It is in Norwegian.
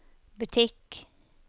butikk